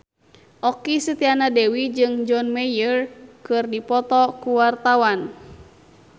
Okky Setiana Dewi jeung John Mayer keur dipoto ku wartawan